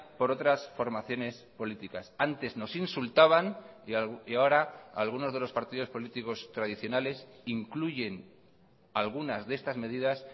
por otras formaciones políticas antes nos insultaban y ahora algunos de los partidos políticos tradicionales incluyen algunas de estas medidas